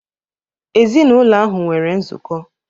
Ezinụlọ ahụ nwere nzukọ.